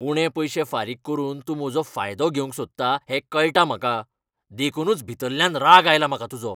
उणे पयशे फारीक करून तूं म्हजो फायदो घेवंक सोदता हें कळटा म्हाका. देखूनच भितल्ल्यान राग आयला म्हाका तुजो.